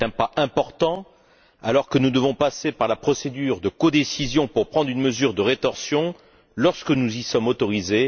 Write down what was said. C'est un pas important, alors que nous devons à l'heure actuelle passer par la procédure de codécision pour prendre une mesure de rétorsion, lorsque nous y sommes autorisés.